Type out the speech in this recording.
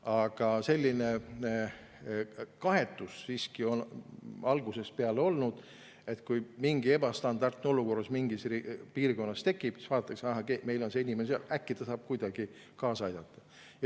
Aga selline kaetus on siiski algusest peale olnud, et kui mingi ebastandardne olukord mingis piirkonnas tekib, siis vaadatakse, et meil on seal inimene ja äkki ta saab kuidagi kaasa aidata.